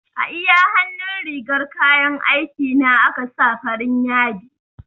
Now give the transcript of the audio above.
A iya hannun rigar kayan aiki na aka sa farin yadi